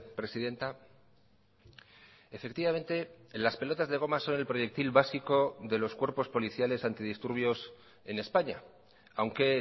presidenta efectivamente las pelotas de goma son el proyectil básico de los cuerpos policiales antidisturbios en españa aunque